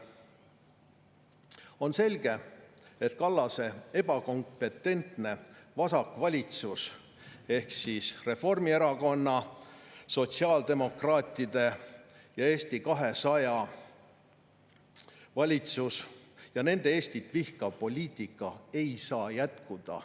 On selge, et Kallase ebakompetentne vasakvalitsus ehk Reformierakonna, sotsiaaldemokraatide ja Eesti 200 valitsus ning nende Eestit vihkav poliitika ei saa jätkuda.